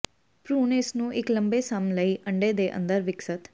ਭ੍ਰੂਣ ਇਸ ਨੂੰ ਇੱਕ ਲੰਬੇ ਸਮ ਲਈ ਅੰਡੇ ਦੇ ਅੰਦਰ ਵਿਕਸਤ